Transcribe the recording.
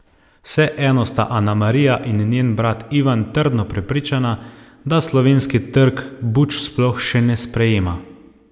Vseeno sta Anamarija in njen brat Ivan trdno prepričana, da slovenski trg buč sploh še ne sprejema.